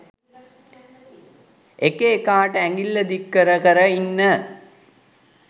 එක එකාට ඇඟිල්ල දික් කර කර ඉන්න